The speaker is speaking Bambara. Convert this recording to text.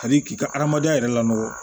Hali k'i ka adamadenya yɛrɛ lakɔ